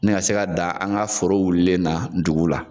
Ni ka se ka da an ka foro wulilen na dugu la.